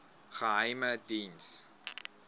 geheimediens